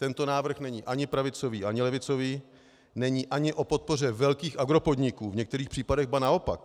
Tento návrh není ani pravicový, ani levicový, není ani o podpoře velkých agropodniků, v některých případech ba naopak.